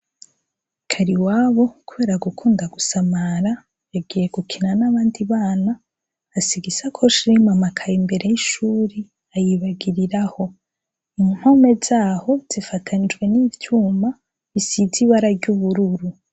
Kariwabo kubera gukunda gusamara yagiye gukina n' abandi bana asiga isakoshi irimwo amakaye imbere y' ishuri ayibagiriraho, impome zaho zifatanijwe n' ivyuma bisize ibara ry’ubururu.